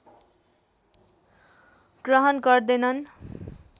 ग्रहण गर्दैनन्